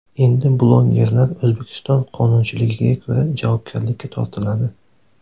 Endi blogerlar O‘zbekiston qonunchiligiga ko‘ra javobgarlikka tortiladi.